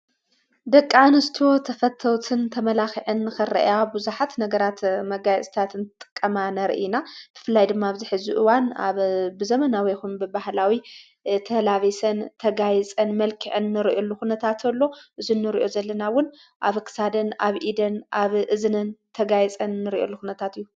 ደቂኣንስትዎ ተፈተውትን ተመላኽዐን ኸርአያ ብዙኃት ነገራት መጋይ እስታትን ጠቀማ ነርኢና ትፍላይ ድማ ኣብዚኅ ዝኡዋን ኣብ ብዘመናዊኹም ብባህላዊ ተላቤሰን ተጋይጸን መልክዕንርእዩሉ ዂነታትሎ እዝኒ ርእዩ ዘለናውን ኣብክሳድን፣ ኣብ ኢደን ፣ኣብ እዝነን ተጋይጸን ንርእዩሉ ኹነታት እዩ።